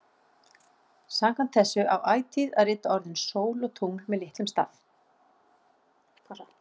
Samkvæmt þessu á ætíð að rita orðin sól og tungl með litlum staf.